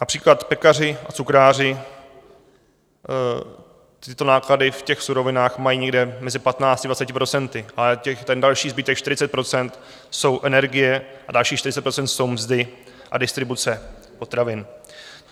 Například pekaři a cukráři tyto náklady v těch surovinách mají někde mezi 15 až 20 %, ale ten další zbytek, 40 %, jsou energie a dalších 40 % jsou mzdy a distribuce potravin.